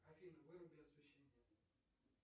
афина выруби освещение